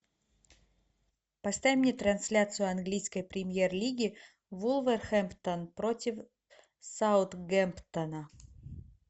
поставь мне трансляцию английской премьер лиги вулверхэмптон против саутгемптона